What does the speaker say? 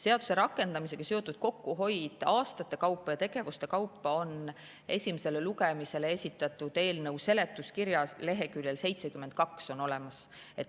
Seaduse rakendamisega seotud kokkuhoid aastate kaupa ja tegevuste kaupa on esimesele lugemisele esitatud eelnõu seletuskirjas leheküljel 72.